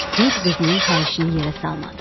Kürd qızının xahişini yerə salmadı.